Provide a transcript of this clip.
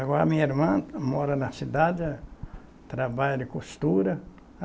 Agora a minha irmã mora na cidade, trabalha de costura.